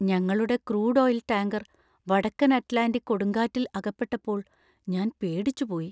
ഞങ്ങളുടെ crude oil tanker വടക്കൻ Atlantic കൊടുങ്കാറ്റിൽ അകപ്പെട്ടപ്പോൾ ഞാൻ പേടിച്ചുപോയി.